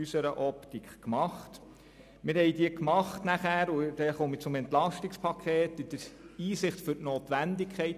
Wir haben sie auch bei den schwierigen Massnahmen gemacht, und zwar aufgrund der Einsicht in die Notwendigkeit.